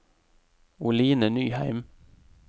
Oline Nyheim